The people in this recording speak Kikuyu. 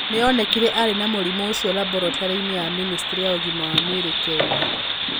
Nĩ onekire arĩ na mũrimũ ũcio laboratory-inĩ ya ministry ya ũgima wa mwĩrĩ ya Kenya.